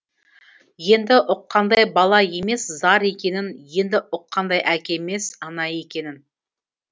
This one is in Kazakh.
енді ұққандай бала емес зар екенін енді ұққандай әке емес ана екенін